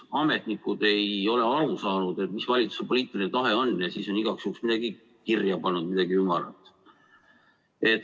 Ametnikud ei ole aru saanud, mis valitsuse poliitiline tahe on, ja siis on igaks juhuks midagi kirja pannud, midagi ümarat.